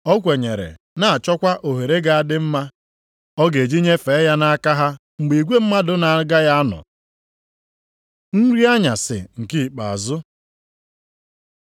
O kwenyere, na-achọkwa ohere ga-adị mma ọ ga-eji nyefee ya nʼaka ha mgbe igwe mmadụ na-agaghị anọ. Nri anyasị nke ikpeazụ